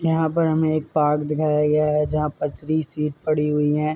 यहाँ पर हमें एक पार्क दीखाया गया है जहाँ पर थ्री सीट पड़ी हुई हैं।